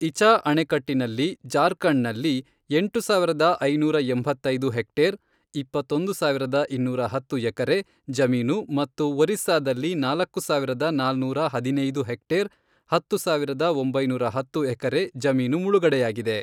ಇಚಾ ಅಣೆಕಟ್ಟಿನಲ್ಲಿ ಜಾರ್ಖಂಡ್‌ನಲ್ಲಿ ಎಂಟು ಸಾವಿರದ ಐನೂರ ಎಂಬತ್ತೈದು ಹೆಕ್ಟೇರ್ (ಇಪ್ಪತ್ತೊಂದು ಸಾವಿರದ ಇನ್ನೂರ ಹತ್ತು ಎಕರೆ) ಜಮೀನು ಮತ್ತು ಒರಿಸ್ಸಾದಲ್ಲಿ ನಾಲ್ಕು ಸಾವಿರದ ನಾನೂರ ಹದಿನೈದು ಹೆಕ್ಟೇರ್ (ಹತ್ತು ಸಾವಿರದ ಒಮಬೈನೂರ ಹತ್ತು ಎಕರೆ) ಜಮೀನು ಮುಳುಗಡೆಯಾಗಿದೆ.